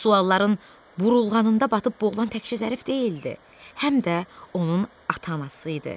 Bu sualların burulğanında batıb boğulan təkcə Zərif deyildi, həm də onun ata-anası idi.